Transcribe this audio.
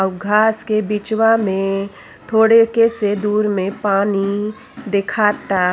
हउ घास के बीचवा में थोड़े के से दूर में पानी देखाता।